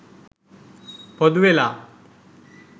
පොදු වෙලා